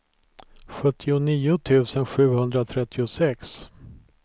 sjuttionio tusen sjuhundratrettiosex